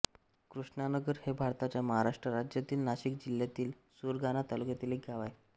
कृष्णानगर हे भारताच्या महाराष्ट्र राज्यातील नाशिक जिल्ह्यातील सुरगाणा तालुक्यातील एक गाव आहे